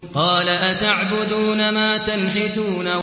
قَالَ أَتَعْبُدُونَ مَا تَنْحِتُونَ